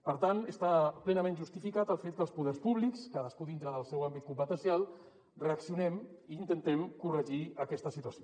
per tant està plenament justificat el fet que els poders públics cadascú dintre del seu àmbit competencial re·accionem i intentem corregir aquesta situació